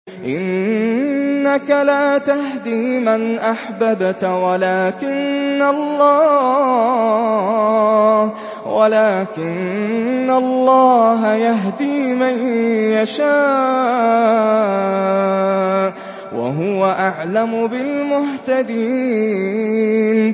إِنَّكَ لَا تَهْدِي مَنْ أَحْبَبْتَ وَلَٰكِنَّ اللَّهَ يَهْدِي مَن يَشَاءُ ۚ وَهُوَ أَعْلَمُ بِالْمُهْتَدِينَ